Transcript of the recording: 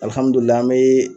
an be